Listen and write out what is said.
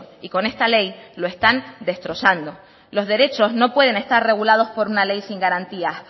y con esta ley lo están destrozando los derechos no pueden estar regulados por una ley sin garantías